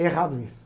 É errado isso.